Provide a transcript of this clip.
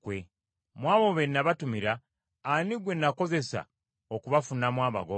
Mu abo be nabatumira, ani gwe nakozesa okubafunamu amagoba?